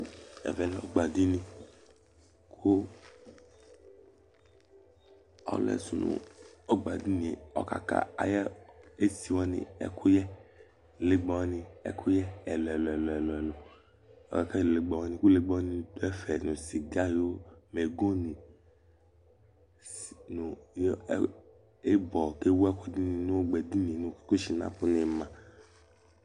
Ɛvɛlɛ ɔgba ɖíni Ɔliɛsʋ ŋu ɔgba ɖínie ɔkala aɣu esiwani ŋu legbawani ɛkuyɛ ɛlu ɛlu